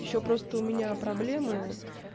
ещё просто у меня проблемы